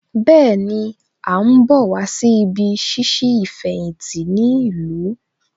Bẹ́ẹ̀ni, À ń bọ̀ wá sí ibí ṣíṣí ìfẹ̀yìntì ní ìlú